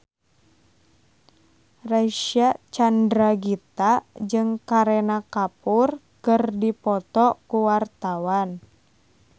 Reysa Chandragitta jeung Kareena Kapoor keur dipoto ku wartawan